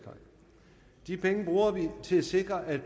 til at sikre at